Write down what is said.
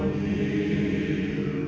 í